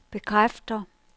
bekræfter